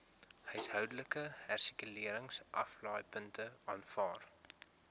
huishoudelike hersirkuleringsaflaaipunte aanvaar